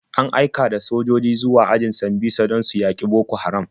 An aika da sojoji zuwa ajin Sambisa don su yaƙi Boko Haram.